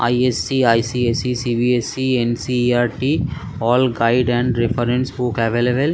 IS. C. I .C. S. C. C B. S. C . N. C. E. R .T. All guide and reference book available.